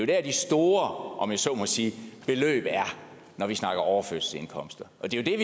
der de store om jeg så må sige beløb er når vi snakker overførselsindkomster